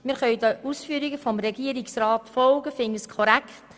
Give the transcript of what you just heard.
Wir können den Ausführungen des Regierungsrats folgen und finden sie korrekt.